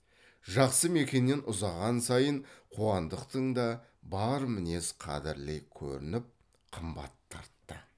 жақсы мекеннен ұзаған сайын қуандықтың да бар мінезі қадірлі көрініп қымбат тартты